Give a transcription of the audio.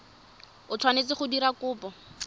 o tshwanetseng go dira kopo